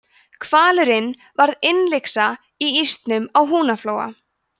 hvalurinn varð innlyksa í ísnum á húnaflóa